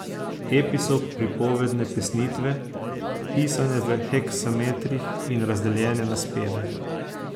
Epi so pripovedne pesnitve, pisane v heksametrih in razdeljene na speve.